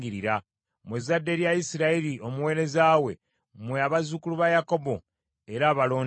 mmwe abazzukulu ba Isirayiri, abaweereza be, mmwe abaana ba Yakobo, abalonde be.